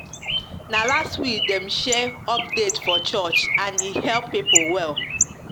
na last week dem share update for church and e help people well